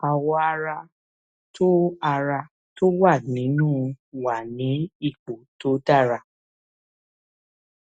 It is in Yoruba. àwọ ara tó ara tó wà nínú wà ní ipò tó dára